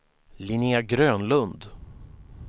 Linnea Grönlund